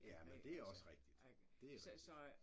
Ja men det også rigtigt. Det rigtigt